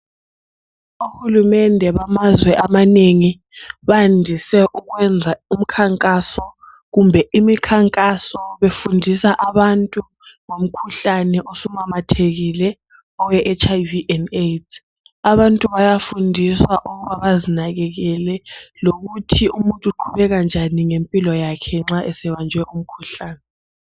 Ohulumende bamazwe amanengi bandise ukwenza umkhankaso kumbe imikhankaso befundisa abantu ngomkhuhlane osumemethekile owe HIV and Aids. Abantu bayafundiswa ukubana bazinakekele lokuthi umuntu uqhubeka njani ngempilo yakhe nxa esebanjwe umkhuhlane.